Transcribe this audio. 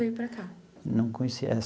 Veio para cá. Não conhecia